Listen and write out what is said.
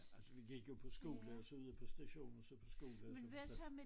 Ja altså vi gik jo på skole og så ud på station og så på skole og så på station